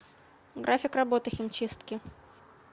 график работы химчистки